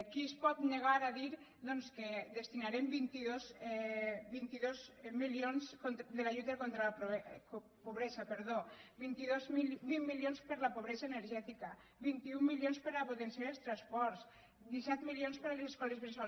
qui es pot negar a dir doncs que destinarem vint dos milions a la lluita contra la pobresa vint milions per a la pobresa energètica vint un milions per a potenciar els transports disset milions per a les escoles bressol